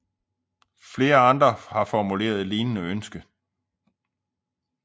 Flere andre har formuleret et lignende ønske